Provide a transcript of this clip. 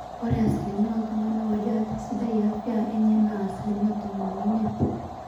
ore asilimia ooltung'anak oojo ate sidai afya enye naa asilimia tomon oimiet